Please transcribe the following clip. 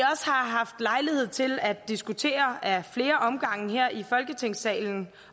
har haft lejlighed til at diskutere ad flere omgange her i folketingssalen